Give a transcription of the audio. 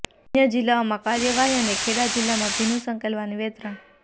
અન્ય જિલ્લાઓમાં કાર્યવાહી અને ખેડા જિલ્લામાં ભીનું સંકેલવાની વેતરણ